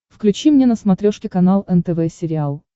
включи мне на смотрешке канал нтв сериал